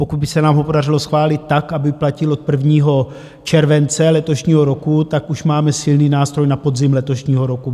Pokud by se nám ho podařilo schválit tak, aby platil od 1. července letošního roku, tak už máme silný nástroj na podzim letošního roku.